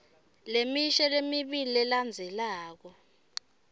lemisho lemibili lelandzelako